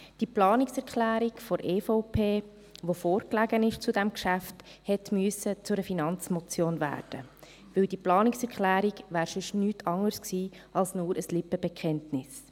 Die Planungserklärung der EVP, die zu diesem Geschäft vorlag, musste zu einer Finanzmotion werden, denn diese Planungserklärung wäre sonst nichts anderes gewesen als nur ein Lippenbekenntnis.